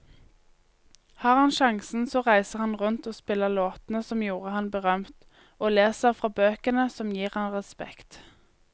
Har han sjansen så reiser han rundt og spiller låtene som gjorde ham berømt, og leser fra bøkene som gir ham respekt.